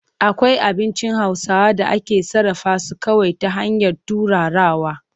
Akwai abincin Hausawa da ake sarrafa su kawai ta hanyar turarawa.